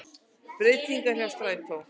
Breytingar hjá strætó